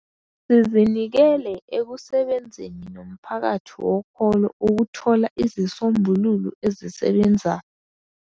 .sizinikele ekusebenzeni nomphakathi wokholo ukuthola izisombululo ezisebenzayo.